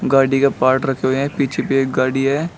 गाड़ी का पार्ट रखे हुए हैं पीछे भी एक गाड़ी है।